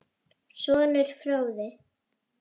Sonur: Fróði.